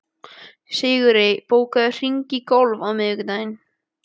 Sigurey, bókaðu hring í golf á miðvikudaginn.